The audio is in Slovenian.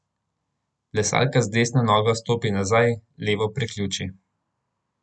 Plesalka z desno nogo stopi nazaj, levo priključi.